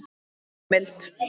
Er heimild?